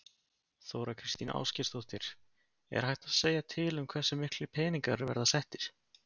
Þóra Kristín Ásgeirsdóttir: Er hægt að segja til um hversu miklir peningar verða settir?